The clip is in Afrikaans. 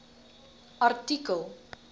artikel